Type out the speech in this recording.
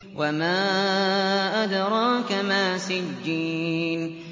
وَمَا أَدْرَاكَ مَا سِجِّينٌ